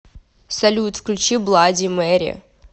салют включи блади мэри